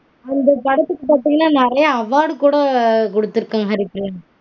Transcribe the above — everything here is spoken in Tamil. இந்த படத்துக்கு பாத்தீங்கனா நெறைய award கூட கொடுத்திருக்காங்க